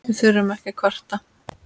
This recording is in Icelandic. Við þurfum ekki að kvarta.